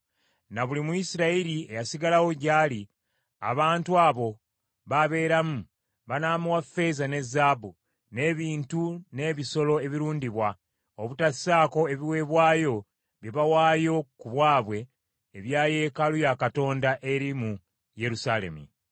Na buli Muyisirayiri eyasigalawo gy’ali, abantu abo baabeeramu, banaamuwa ffeeza ne zaabu, n’ebintu n’ebisolo ebirundibwa, obutasaako ebiweebwayo bye bawaayo ku bwabwe ebya yeekaalu ya Katonda eri mu Yerusaalemi.’ ”